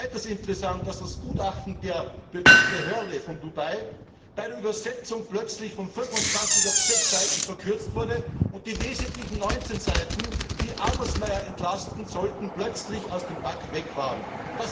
Es ist weiters interessant, dass das Gutachten der Behörde bei der Übersetzung in Dubai plötzlich von 25 auf 6 Seiten verkürzt wurde und die wesentlichen 19 Seiten, die Adelsmayr entlasten sollten, plötzlich aus dem Akt verschwunden waren.